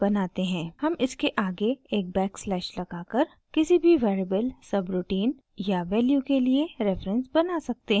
हम इसके आगे एक बैकस्लैश लगाकर किसी भी वेरिएबल सबरूटीन या वैल्यू के लिए रेफरेंस बना सकते हैं